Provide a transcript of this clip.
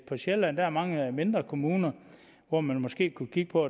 på sjælland er mange mindre kommuner hvor man måske kunne kigge på